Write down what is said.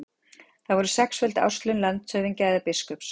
Það voru sexföld árslaun landshöfðingja eða biskups.